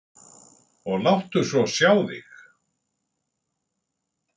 Og láttu svo sjá þig.